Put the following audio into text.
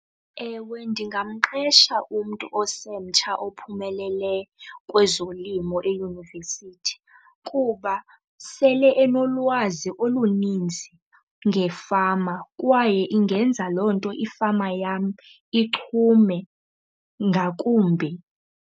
Ewe, ndingamqesha umntu osemtsha ophumeleleyo kwezolimo eyunivesithi kuba sele enolwazi oluninzi ngefama, kwaye ingenza loo nto ifama yam ichume ngakumbi.